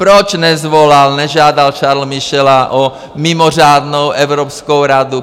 Proč nezavolal, nežádal Charlese Michela o mimořádnou evropskou radu?